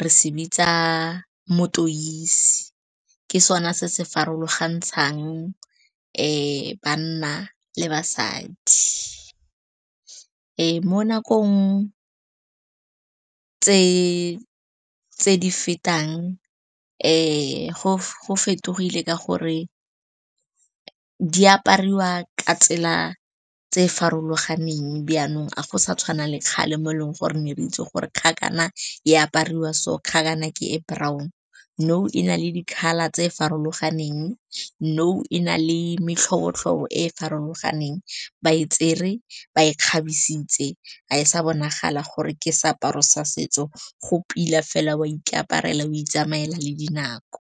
re se bitsa motoise, ke sona se se farologantshang banna le basadi. Mo nakong tse di fetang go fetogile ka gore di apariwa ka tsela tse farologaneng. Jaanong a go sa tshwana le kgale mo eleng gore re ne re itse gore kgakana e apariwa so, kgakana ke e brown. Nou e na le di-colour tse farologaneng, nou e na le metlhobo-tlhobo e e farologaneng. Ba e tsere, ba e kgabisitswe, ga e sa bonagala gore ke seaparo sa setso, go pila fela oa ikaparela, oa itsamela le dinako.